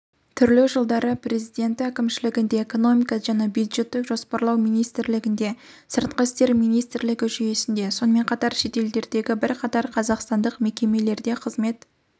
түрлі жылдары президенті әкімшілігінде экономика және бюджеттік жоспарлау министрлігінде сыртқы істер министрлігі жүйесінде сонымен қатар шетелдердегі бірқатар қазақстандық мекемелерде қызмет